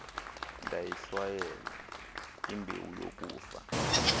ndayihlwayela imbewu yokufa